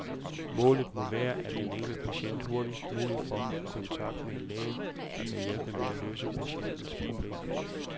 Målet må være, at den enkelte patient hurtigst muligt får kontakt med en læge, der kan hjælpe med at løse patientens problem.